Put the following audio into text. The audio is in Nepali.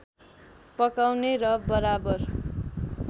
पकाउने र बराबर